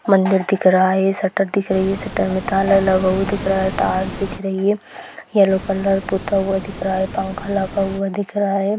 मंदिर दिख रहा है शटर दिख रही है शटर में ताला लगा हुआ दिख रहा है टाइल्स दिख रही है येलो कलर पुता हुआ दिख रहा है पंखा लगा हुआ दिख रहा है।